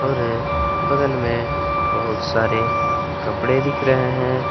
बगल में बहुत सारे कपड़े दिख रहे हैं।